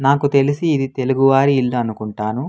నాకు తెలిసి ఇది తెలుగువారి ఇల్లు అనుకుంటాను.